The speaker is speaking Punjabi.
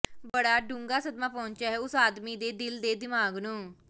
ਬੜਾ ਡੂੰਘਾ ਸਦਮਾ ਪਹੁੰਚਿਆ ਉਸ ਆਦਮੀ ਦੇ ਦਿਲ ਦੇ ਦਿਮਾਗ ਨੂੰ